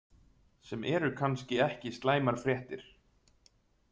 Sem eru kannski ekki slæmar fréttir.